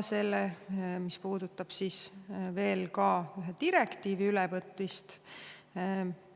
Mis puudutab ühe direktiivi ülevõtmist,